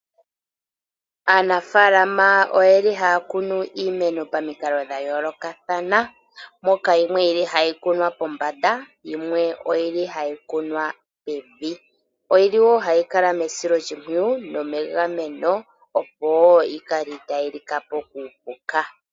Aanafaalama oye li haya kunu iimeno pamikalo dha yoolokathana, moka yimwe yili hayi kunwa pombada, yimwe oyili ha yi kunwa pevi. Oyili woo ha yi kala mesiloshimpwiyu nomegameno opo yikale ita yi lika po kuupuka.